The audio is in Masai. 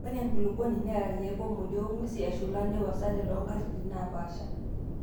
Ore enkulukuoni neata irkiek oo modio ong'wesi eshula neiwosate too nkatitin naapashaa.